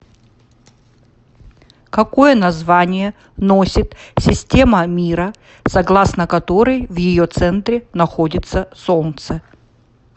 какое название носит система мира согласно которой в ее центре находится солнце